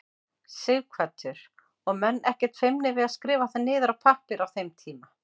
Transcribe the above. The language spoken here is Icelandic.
Sighvatur: Og menn ekkert feimnir við að skrifa það niður á pappír á þeim tíma?